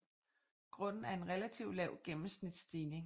Grunden er en relativt lav gennemsnitsstigning